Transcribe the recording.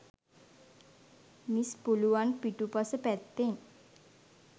miss පුළුවන් පිටුපස පැත්තෙන්